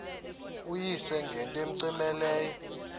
uyise ngento cmehleleyo